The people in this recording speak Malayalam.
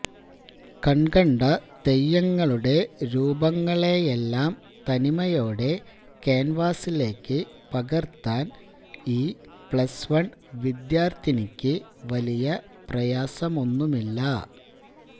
കൺകണ്ട തെയ്യങ്ങളുടെ രൂപങ്ങളെയെല്ലാം തനിമയോടെ കാൻവാസിലേക്ക് പകർത്താൻ ഈ പ്ലസ് വൺ വിദ്യാർത്ഥിനിയ്ക് വലിയ പ്രയാസമൊന്നുമില്ല